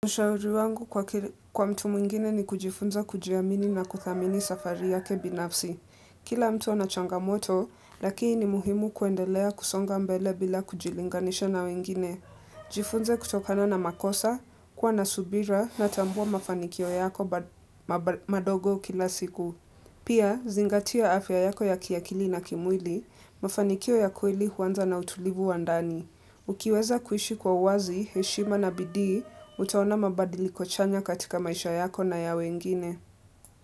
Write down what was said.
Ushauri wangu kwa mtu mwingine ni kujifunza kujiamini na kuthamini safari yake binafsi. Kila mtu ana changa moto, lakini muhimu kuendelea kusonga mbele bila kujilinganisha na wengine. Jifunze kutokana na makosa, kuwa na subira na tambua mafanikio yako madogo kila siku. Pia, zingatia afya yako ya kiakili na kimwili, mafanikio ya kweli huanza na utulivu wandani. Ukiweza kuishi kwa uwazi, heshima na bidii, utaona mabadili kochanya katika maisha yako na ya wengine.